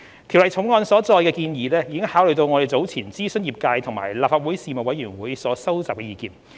《條例草案》所載的建議已考慮我們早前諮詢業界及立法會財經事務委員會所收集的意見。